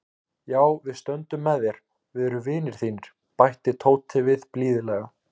Já, við stöndum með þér, við erum vinir þínir bætti Tóti við blíðlega.